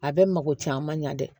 A bɛ mako caaman ɲɛ dɛ